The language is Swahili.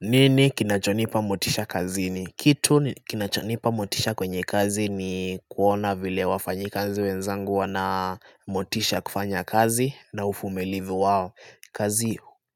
Nini kinachonipa motisha kazini? Kitu kinachonipa motisha kwenye kazi ni kuona vile wafanyakazi wenzangu wana motisha kufanya kazi na uvumilivu wao